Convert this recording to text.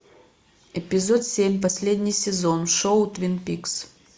эпизод семь последний сезон шоу твин пикс